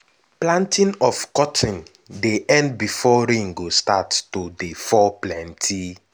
planting of cotton dey end before rain go start to start to dey fall plenti.